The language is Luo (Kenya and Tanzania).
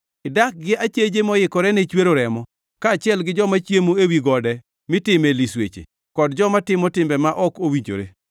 Idak gi acheje moikore ne chwero remo, kaachiel gi joma chiemo ewi gode mitime lisweche, kod joma timo timbe ma ok owinjore.